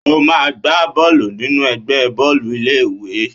O máa gba bọ́ọ̀lù nínú ẹgbẹ́ bọ́ọ̀lù ilé ìwé.!